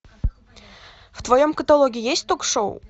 в твоем каталоге есть ток шоу